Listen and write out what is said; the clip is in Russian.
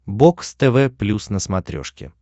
бокс тв плюс на смотрешке